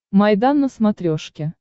майдан на смотрешке